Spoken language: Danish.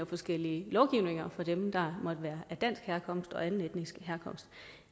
forskellige lovgivninger for dem der måtte være af dansk herkomst og af anden etnisk herkomst